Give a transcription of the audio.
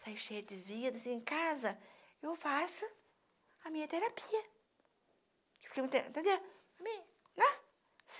Sai cheio de vida, assim, em casa, eu faço a minha terapia.